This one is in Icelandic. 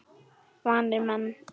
Vanir menn.